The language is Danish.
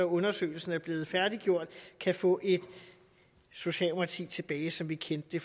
undersøgelsen er blevet færdiggjort kan få socialdemokratiet tilbage som vi kendte det